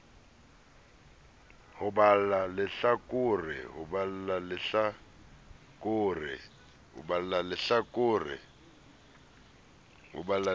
ho o balla lehla kore